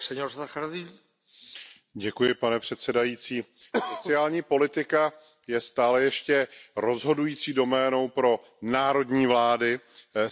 Pane předsedající, sociální politika je stále ještě rozhodující doménou pro národní vlády stejně jako sociální systémy.